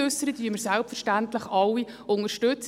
Diese unterstützen wir selbstverständlich alle.